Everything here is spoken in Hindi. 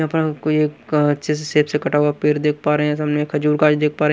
यहां पर कोई एक अच्छे से शेप से कटा हुआ पेड़ देख पा रहे हैं सामने खजूर का है ये देख पा रहे हैं।